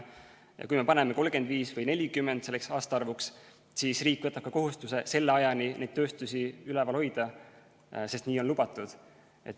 Ja kui me paneme selleks aastaarvuks 2035 või 2040, siis riik võtab ka kohustuse selle ajani neid tööstusi üleval hoida, sest nii on lubatud.